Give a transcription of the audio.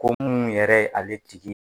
Ko munnu yɛrɛ ale tigi